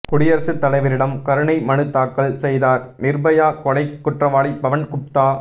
குடியரசுத் தலைவரிடம் கருணை மனு தாக்கல் செய்தார் நிர்பயா கொலைக் குற்றவாளி பவன் குப்தா